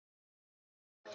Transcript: Anna María.